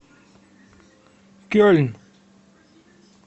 кельн